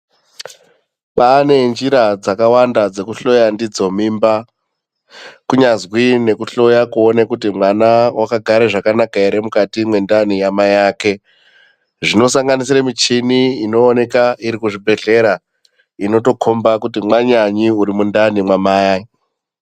Kwane njira dzakawanda dzekuhloya ndidzo mimba kunyazwi nekuhloya kuti mwana wakagara zvakanaka ere mukati mwendani yamai ake, zvinosanganisire michini inooneka muzvibhedhleya inotokomba kuti mwananyi uri mundani mamai.